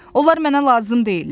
Onlar mənə lazım deyillər.